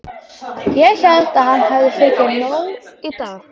Ég hélt að hann hefði fengið nóg í dag.